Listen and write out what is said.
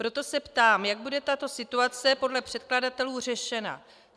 Proto se ptám, jak bude tato situace podle předkladatelů řešena.